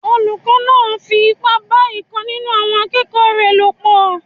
Olùkọ́ náà fi ipá bá ìkan nínú àwọn akẹ́kọ̀ọ́ rẹ̀ lò pọ̀